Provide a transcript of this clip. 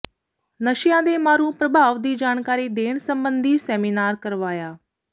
ਨਸ਼ਿਆਂ ਦੇ ਮਾਰੂ ਪ੍ਰਭਾਵ ਦੀ ਜਾਣਕਾਰੀ ਦੇਣ ਸਬੰਧੀ ਸੈਮੀਨਾਰ ਕਰਵਾਇਆ